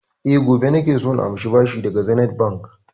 E, gobe nake so na amshi bashi daga Zenith Bank.